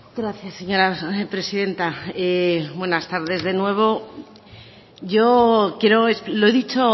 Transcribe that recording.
gracias señora presidenta buenas tardes de nuevo yo quiero lo he dicho